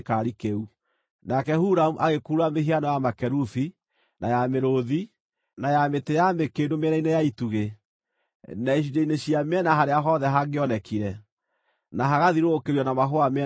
Nake Huramu agĩkurura mĩhiano ya makerubi, na ya mĩrũũthi, na ya mĩtĩ ya mĩkĩndũ mĩena-inĩ ya itugĩ, na icunjĩ-inĩ cia mĩena harĩa hothe hangĩonekire, na hagathiũrũrũkĩrio na mahũa mĩena yothe.